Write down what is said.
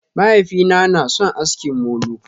Mahaifina na sun aski molo.